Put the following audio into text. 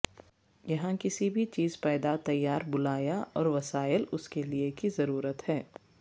یہاں کسی بھی چیز پیدا تیار بلایا اور وسائل اس کے لئے کی ضرورت ہے